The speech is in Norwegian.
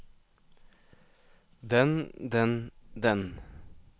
den den den